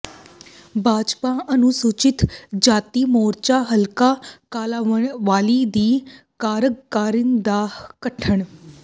ਭਾਜਪਾ ਅਨੁਸੂਚਿਤ ਜਾਤੀ ਮੋਰਚਾ ਹਲਕਾ ਕਾਲਾਂਵਾਲੀ ਦੀ ਕਾਰਜਕਾਰਨੀ ਦਾ ਗਠਨ